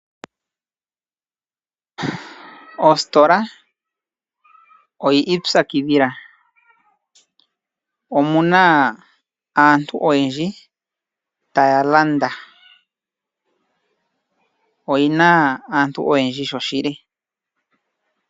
Ositola oya ipyakidhila. Omu na aantu oyendji taya landa, oyi na aantu oyendji shoshili.